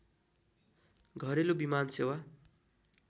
घरेलु विमान सेवा